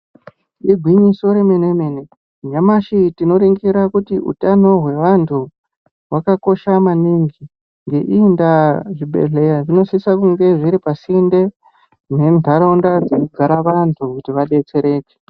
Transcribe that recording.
Igwinyiso remene-mene nyamashi tinoringira utano hwevantu hwakakosha maningi. Ngeiyi ndaa zvibhedhleya zvinosisa kunge zviripasinde nemuntaraunda dzinogara vantu kuti vabetsereke.